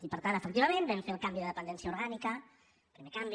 i per tant efectivament vam fer el canvi de dependència orgànica primer canvi